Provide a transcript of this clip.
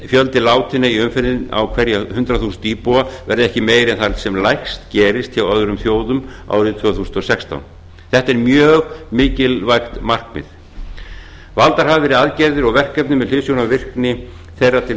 fjöldi látinna í umferðinni á hverja hundrað þúsund íbúa verði ekki meiri en þar sem lægst gerist hjá öðrum þjóðum árið tvö þúsund og sextán þetta er mjög mikilvægt markaði valdar hafa verið aðgerðir og verkefni með hliðsjón af virkni þeirra til